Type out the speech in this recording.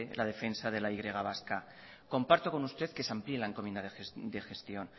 la defensa de la y vasca comparto con usted que se amplíe la encomiendo de gestión